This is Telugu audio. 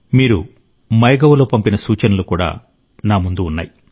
మీరు మైగవ్లో పంపిన సూచనలు కూడా నా ముందు ఉన్నాయి